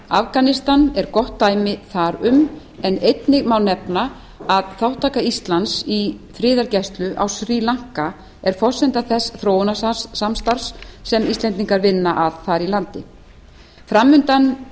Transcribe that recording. afganistan er gott dæmi þar um en einnig má nefna að þátttaka íslands í friðargæslu á srí lanka er forsenda þess þróunarsamstarfs sem íslendingar vinna að þar í landi framundan